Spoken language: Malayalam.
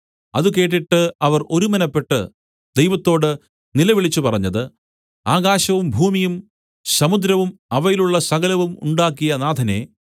അത് കേട്ടിട്ട് അവർ ഒരുമനപ്പെട്ട് ദൈവത്തോട് നിലവിളിച്ചു പറഞ്ഞത് ആകാശവും ഭൂമിയും സമുദ്രവും അവയിലുള്ള സകലവും ഉണ്ടാക്കിയ നാഥനേ